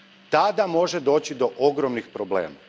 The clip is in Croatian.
Tada može doći do ogromnih problema.